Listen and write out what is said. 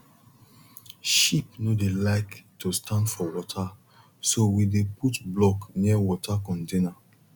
sheep no dey like to stand for water so we dey put block near water container